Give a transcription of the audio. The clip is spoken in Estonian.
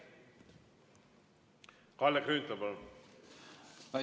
Kalle Grünthal, palun!